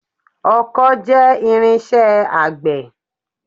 Ọkọ́ jẹ́ irinṣẹ́ àgbẹ̀.